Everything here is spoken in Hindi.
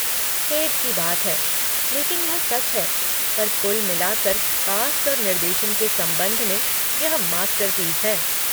खेद की बात है, लेकिन यह सच है, पर कुल मिलाकर कास्ट और निर्देशन के संबंध में यह मास्टरपीस है।